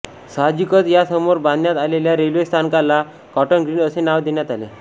साहजिकच या समोर बांधण्यात आलेल्या रेल्वे स्थानकाला कॉटन ग्रीन असे नाव देण्यात आले